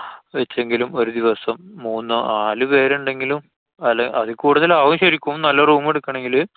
വച്ചെങ്കിലും ഒരു ദിവസം മൂന്നു നാലു പേരുണ്ടെങ്കിലും ന്നാല് അതില്‍ കൂടുതല്‍ ആവും. ശരിക്കും നല്ല room എടുക്കണെങ്കില്.